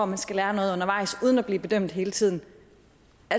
man skal lære noget undervejs uden at blive bedømt hele tiden